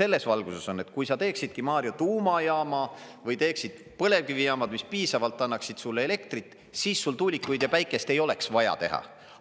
selles valguses on, et kui sa teeksidki, Mario, tuumajaama või teeksid põlevkivijaamad, mis piisavalt annaksid sulle elektrit, siis sul tuulikuid ja päikest ei oleks vaja teha.